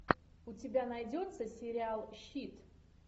у тебя найдется сериал щит